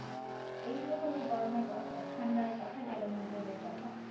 এইতো হল গরমের কথা ঠান্ডার কথা গেল নিজেদের কথা